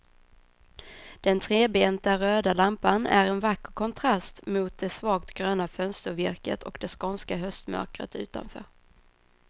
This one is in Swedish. Den trebenta röda lampan är en vacker kontrast mot det svagt gröna fönstervirket och det skånska höstmörkret utanför.